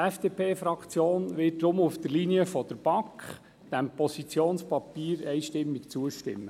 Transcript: Die FDP-Fraktion wird deshalb auf der Linie der BaK diesem Positionspapier einstimmig zustimmen.